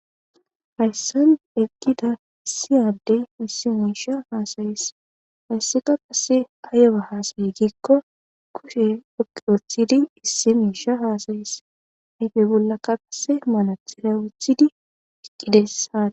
Hayssan eggida issi addey issi miisha haasayees. Hayssika qase ayba haasayi gikko kushe xuqqu othidi issi miisha haasays ayfe bollakka qase manaxira wothidi eqqidayssaa.